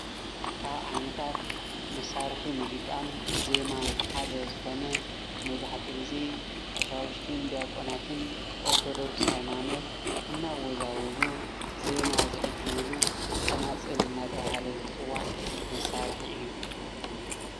ካብ ዓይነታት መሳርሒ ሙዚቃን ዜማን ሓደ ዝኮነ መብዛሕትኡ ግዜ ቀሻውሽትን ዲያቆናትን ኦርቶዶክስ ሃይማኖት እናወዛወዙ ዜማ ዝዕጅብሉ ፀናፅል እናተባሃለ ዝፅዋዕ መሳርሒ እዩ፡፡